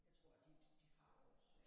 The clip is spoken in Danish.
Jeg tror de de har vores øh